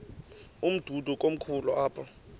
umdudo komkhulu apha